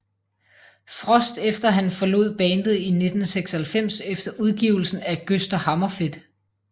Frost efter han forlod bandet i 1996 efter udgivelsen af Gösta Hammerfedt